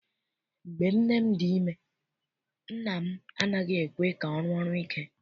Mgbe nne m dị ime nna m anaghị ekwe ka ọ rụọ ọrụ ike.